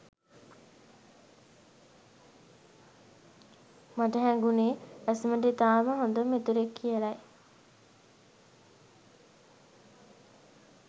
මට හැඟුණෙ ඇසුරට ඉතාම හොඳ මිතුරෙක් කියලයි.